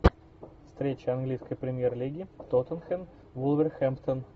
встреча английской премьер лиги тоттенхэм вулверхэмптон